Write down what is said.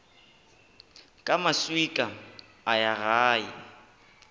ka maswika a ya gae